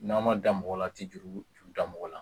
N'a ma da mɔgɔ la a ti juru juru da mɔgɔ la